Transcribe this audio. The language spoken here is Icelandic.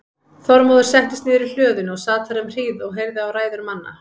Þormóður settist niður í hlöðunni og sat þar um hríð og heyrði á ræður manna.